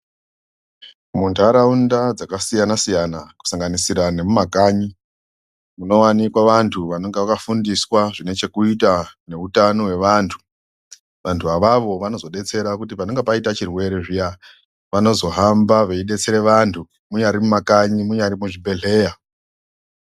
Muntaraunda dzakasiyana- siyana kusanganisira nemumakanyi munowanikwa vanthu vanonga vakafundiswa zvine chekuita neutano hwevanthu, vanthu avavo vanozodetsera kuti panenge paita chirwere zviya vanozohamba veidetsere vanthu munyari mumakanyi munyari muchibhedleya.